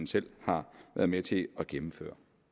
selv har været med til at gennemføre